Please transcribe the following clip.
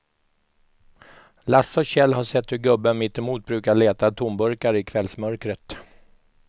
Lasse och Kjell har sett hur gubben mittemot brukar leta tomburkar i kvällsmörkret.